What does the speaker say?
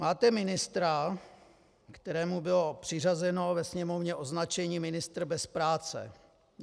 Máte ministra, kterému bylo přiřazeno ve Sněmovně označení ministr bez práce.